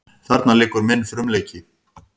Þarna liggur minn frumleiki.